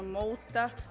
móta